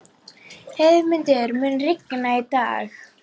Heiðmundur, mun rigna í dag?